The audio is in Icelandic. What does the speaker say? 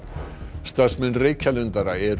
starfsmenn Reykjalundar eru